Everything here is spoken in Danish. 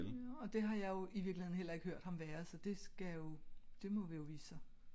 Og det har jeg jo i virkeligheden heller ikke hørt ham være så det skal jo det må vi jo vise sig